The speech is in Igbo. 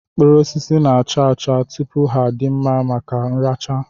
Mkpụrụosisi na-acha acha tupu ha adị mma maka nracha